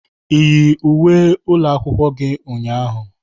Ị yi uwe ụlọ akwụkwọ gi ụnyaahụ?